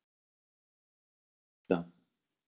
Ég heiti Guðbjörg María Stefánsdóttir svaraði Lilla.